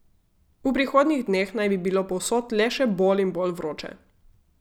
V prihodnjih dneh naj bi bilo povsod le še bolj in bolj vroče.